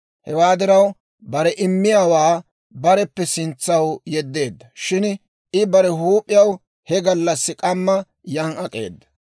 Hewaa diraw bare immiyaawaa bareppe sintsaw yeddeedda. Shin I bare huup'iyaw he gallassi k'amma yan ak'eeda.